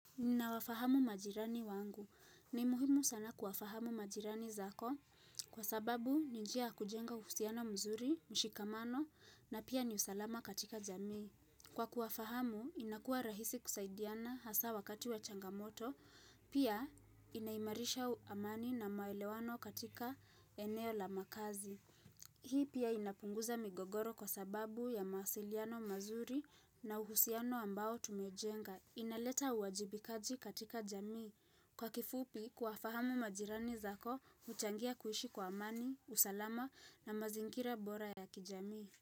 Ninawafahamu majirani wangu. Ni muhimu sana kuwafahamu majirani zako kwa sababu ni njia ya kujenga uhusiano mzuri, mshikamano na pia ni usalama katika jamii. Kwa kuwafahamu, inakuwa rahisi kusaidiana hasa wakati wa changamoto, pia inaimarisha amani na maelewano katika eneo la makazi. Hii pia inapunguza migogoro kwa sababu ya mawasiliano mazuri na uhusiano ambao tumejenga. Inaleta uwajibikaji katika jamii. Kwa kifupi kuwafahamu majirani zako, huchangia kuishi kwa amani, usalama na mazingira bora ya kijamii.